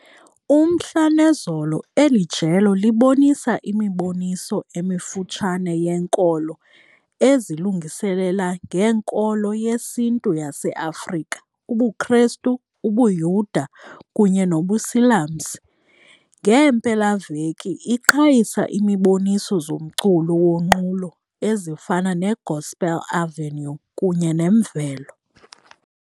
Umhla nezolo eli jelo libonisa imiboniso emifutshane yenkolo ezilungiselela ngeNkolo yesiNtu yaseAfrika, ubuKristu, ubuYuda kunye nobuSilamsi. Ngeempelaveki iqhayisa imiboniso zomculo wonqulo ezifana neGospel Avenue kunye neMvelo.